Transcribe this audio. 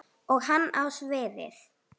Og hann á sviðið.